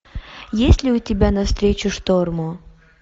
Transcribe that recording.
есть ли у тебя навстречу шторму